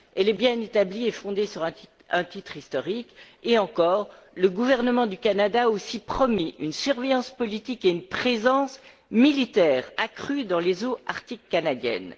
elle est bien établie et fondée sur un titre historique et encore le gouvernement du Canada a aussi promis une surveillance politique et une présence militaire accrues dans les eaux arctiques canadiennes.